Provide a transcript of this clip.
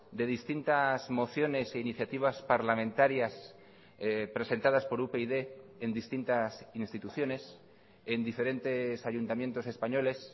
de distintas mociones e iniciativas parlamentarias presentadas por upyd en distintas instituciones en diferentes ayuntamientos españoles